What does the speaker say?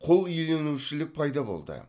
құлиеленушілік пайда болды